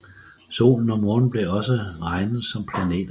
Solen og Månen blev også regnet som planeter